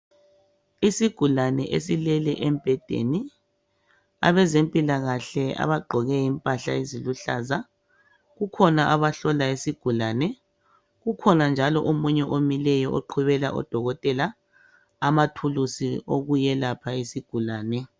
Isigulane esilele embhedeni abezempilakahle abagqoke impahla eziluhlaza kukhona abamhlola isigulane kukhona njalo omunye omileyo oqhubela udokotela amathulusi okuyelapha isigulane